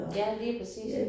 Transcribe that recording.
Ja lige præcis